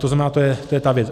To znamená, to je ta věc.